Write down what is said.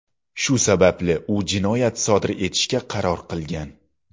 Shu sababli u jinoyat sodir etishga qaror qilgan.